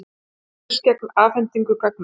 Börðust gegn afhendingu gagna